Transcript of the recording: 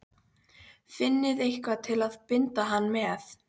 FINNIÐI EITTHVAÐ TIL AÐ BINDA HANN MEÐ!